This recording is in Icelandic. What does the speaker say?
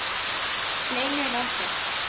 Leynir á sér!